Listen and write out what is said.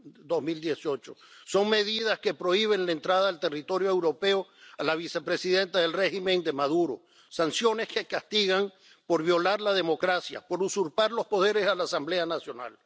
2018. Son medidas que prohíben la entrada al territorio europeo a la vicepresidenta del régimen de Maduro, sanciones que castigan por violar la democracia, por usurpar los poderes a la Asamblea Nacional.